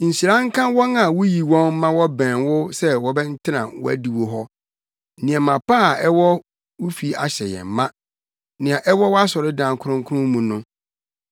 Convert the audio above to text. Nhyira nka wɔn a wuyi wɔn ma wɔbɛn wo sɛ wɔntena wʼadiwo hɔ! Nneɛma pa a ɛwɔ wo fi ahyɛ yɛn ma, nea ɛwɔ wʼasɔredan kronkron mu no.